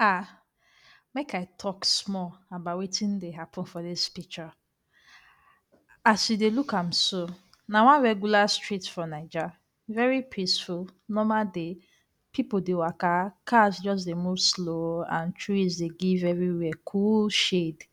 Aah, make I talk small about wetin dey happen for dis picture. As you dey look am so na one regular street for Naija, very peaceful. Normal day, pipu dey waka, cars just dey move slow and trees dey give everywhere cool shade.